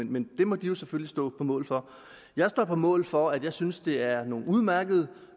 men det må de jo selvfølgelig stå på mål for jeg står på mål for at jeg synes det er nogle udmærkede